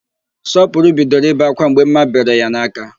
Sọpụrụ bidoro ibe ákwá mgbe ḿmà bere ya n'aka.